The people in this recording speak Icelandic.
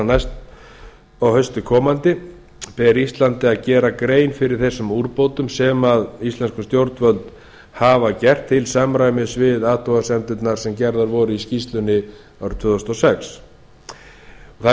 næst komandi haust ber íslandi að gera grein fyrir þeim úrbótum sem íslensk stjórnvöld hafa gert til samræmis við þær athugasemdir sem fram komu í skýrslu fatf frá tvö þúsund og sex mikilvægt